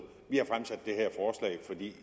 vi